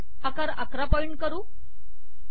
आकार ११ पॉइंट करू